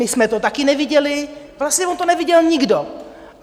My jsme to také neviděli, vlastně on to neviděl nikdo.